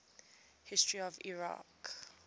history of iraq